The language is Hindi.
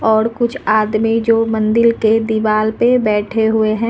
और कुछ आदमी जो मंदिल के दीवाल पे बैठे हुए हैं।